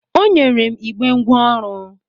O nyere m igbe ngwa ọrụ.